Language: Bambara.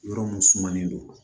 Yɔrɔ mun sumanen don